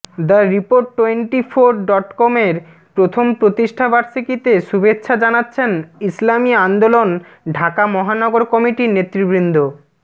the report twenty four ডটকমের প্রথম প্রতিষ্ঠাবার্ষিকীতে শুভেচ্ছা জানাচ্ছেন ইসলামী আন্দোলন ঢাকা মহানগর কমিটির নেতৃবৃন্দ